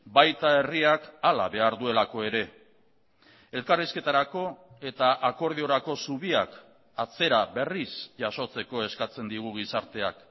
baita herriak hala behar duelako ere elkarrizketarako eta akordiorako zubiak atzera berriz jasotzeko eskatzen digu gizarteak